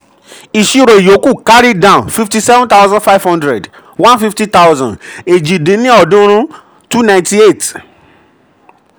ìṣírò ìyókù c/d 57500 150000 --- èjì dín ní ọ́ọ̀dúnrún(298).